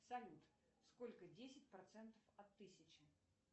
салют сколько десять процентов от тысячи